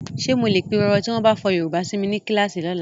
Ǹjẹ́ mo lè pirọrọ tí wọ́n bá fọ Yorùbá si mi ní kíláàsì lọ́la?